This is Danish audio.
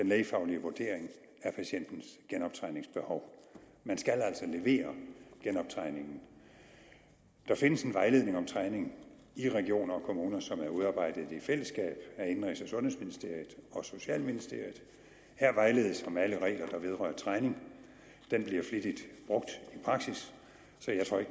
lægefaglige vurdering af patientens genoptræningsbehov man skal altså levere genoptræningen der findes en vejledning om træning i regioner og kommuner som er udarbejdet i fællesskab af indenrigs og sundhedsministeriet og socialministeriet her vejledes om alle regler der vedrører træning den bliver flittigt brugt i praksis